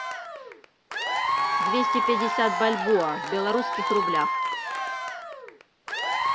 двести пятьдесят бальбоа в белорусских рублях